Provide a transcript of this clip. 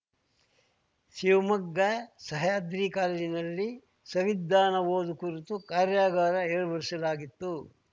ಶಿವಮೊಗ್ಗ ಸಹ್ಯಾದ್ರಿ ಕಾಲೇಜಿನಲ್ಲಿ ಸವಿಧಾನ ಓದು ಕುರಿತ ಕಾರ್ಯಾಗಾರ ಏರ್ಪಡಿಸಲಾಗಿತ್ತು